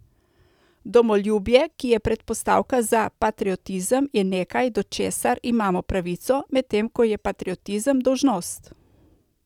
Domoljubje, ki je predpostavka za patriotizem, je nekaj, do česar imamo pravico, medtem ko je patriotizem dolžnost.